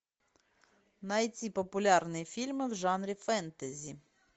найти популярные фильмы в жанре фэнтези